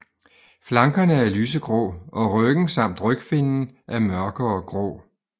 Flankerne er lysegrå og ryggen samt rygfinnen er mørkere grå